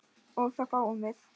og þá fáum við